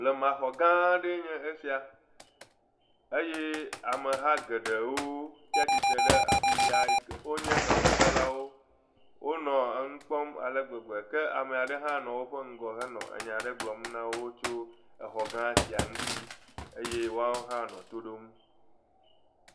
Blemaxɔ gã aɖee nye esia eye ameha geɖewo tsatsitre ɖe afi sia, wonye enukpɔlawo, wonɔ enu kpɔm ale gbegbe ke ame ɖe hã nɔ woƒe ŋgɔ henɔ nya aɖe gblɔm na wo tso exɔ gã sia ŋuti eye woawo hã nɔ to ɖom.